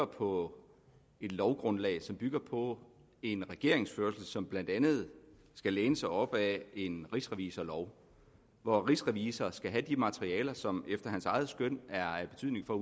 på et lovgrundlag bygger på en regeringsførelse som blandt andet skal læne sig op ad en rigsrevisorlov hvor rigsrevisor skal have det materiale som efter hans eget skøn er af betydning for at